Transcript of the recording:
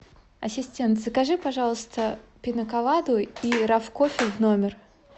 ассистент закажи пожалуйста пина коладу и раф кофе в номер